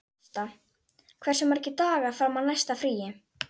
Krista, hversu margir dagar fram að næsta fríi?